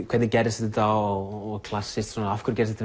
hvernig gerðist þetta og klassískt svona af hverju gerðist